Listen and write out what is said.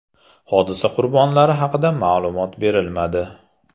Hodisa qurbonlari haqida ma’lumot berilmadi.